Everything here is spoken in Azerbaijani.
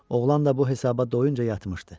Oğlan da bu hesaba doyunca yatmışdı.